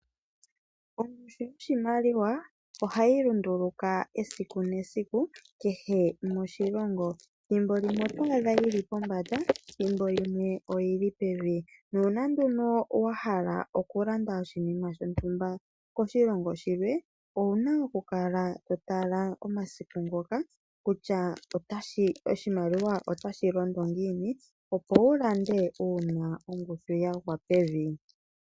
Ongushu yoshimaliwa ohayi lunduluka esiku nesiku, kehe moshilongo. Thimbo limwe otoyi adha yili pombanda thimbo limwe oyili pevi. Nuuna nduno wahala okulanda oshinima shontumba koshilongo shilwe, owuna okukala to tala omasiku ngoka kutya oshimaliwa otashi londo ngiini. Opo wulande uuna ongushu yagwa pevi.